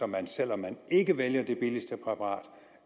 man selv om man ikke vælger det billigste præparat